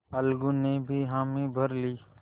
अलगू ने भी हामी भर ली